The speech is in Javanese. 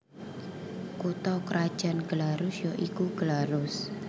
Kutha krajan Glarus ya iku Glarus